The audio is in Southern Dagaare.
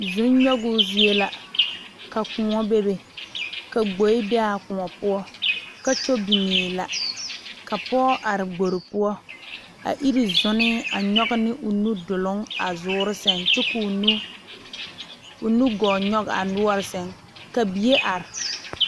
Zɔ nyoŋ zie la ka kõɔ are ka gboɛ be a kõɔ poɔ kakyuu biŋe la ka pɔge are gbore poɔ a iri zɔnee a nyoŋ ne o nudoluŋ a zuure saŋ ko'o nugɔɔ nyoŋ a noɔre saŋ ka bie are.